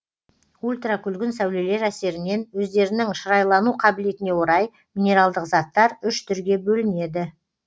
ультракүлгін сәулелер әсерінен өздерінің шырайлану қабілетіне орай минералдық заттар үш түрге бөлінеді